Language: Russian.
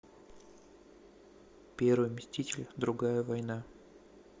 первый мститель другая война